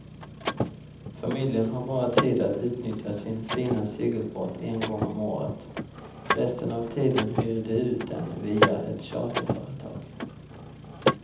Familjen har bara tid att utnyttja sin fina segelbåt en gång om året, resten av tiden hyr de ut den via ett charterföretag.